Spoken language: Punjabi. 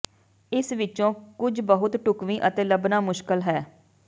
ਇਸ ਵਿੱਚੋਂ ਕੁਝ ਬਹੁਤ ਢੁਕਵੀਂ ਅਤੇ ਲੱਭਣਾ ਮੁਸ਼ਕਲ ਹੈ